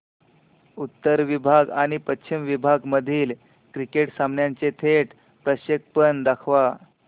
उत्तर विभाग आणि पश्चिम विभाग मधील क्रिकेट सामन्याचे थेट प्रक्षेपण दाखवा